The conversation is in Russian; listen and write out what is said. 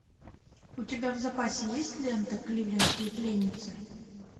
у тебя в запасе есть лента кливлендские пленницы